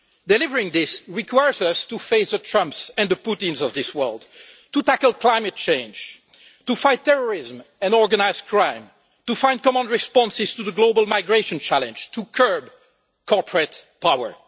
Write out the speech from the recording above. Delivering this requires us to face the Trumps and the Putins of this world, to tackle climate change, to fight terrorism and organised crime, to find common responses to the global migration challenge, to curb corporate power.